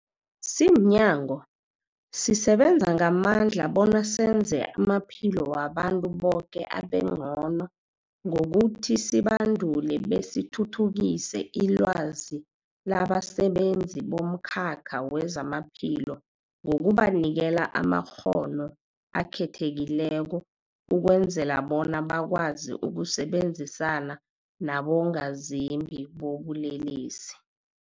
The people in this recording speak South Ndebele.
Simnyango, sisebenza ngamandla bona senze amaphilo wabantu boke abengcono ngokuthi sibandule besithuthukise ilwazi labasebenzi bomkhakha wezamaphilo ngokubanikela amakghono akhethekileko ukwenzela bona bakwazi ukusebenzisana nabongazimbi bobulelesi.